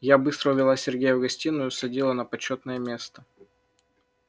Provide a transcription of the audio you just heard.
я быстро увела сергея в гостиную садила на почётное место